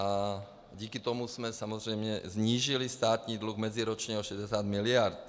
A díky tomu jsme samozřejmě snížili státní dluh meziročně o 60 miliard.